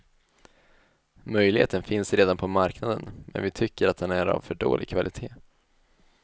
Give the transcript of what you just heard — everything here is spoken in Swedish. Möjligheten finns redan på marknaden men vi tycker att den är av för dålig kvalitet.